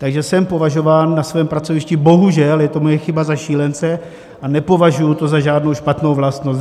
Takže jsem považován na svém pracovišti, bohužel, je to moje chyba, za šílence a nepovažuji to za žádnou špatnou vlastnost.